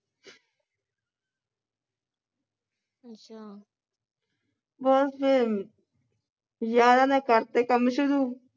ਬਸ ਫਿਰ ਯਾਰਾਂ ਨੇ ਕਰਤੇ ਕੰਮ ਸ਼ੁਰੂ